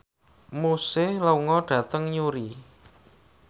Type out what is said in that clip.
Muse lunga dhateng Newry